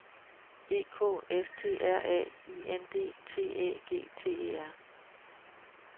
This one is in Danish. E K S T R A I N D T Æ G T E R